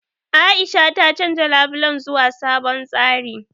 A'isha ta canja labulen zuwa sabon tsari.